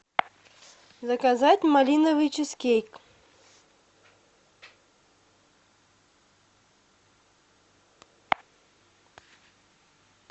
заказать малиновый чизкейк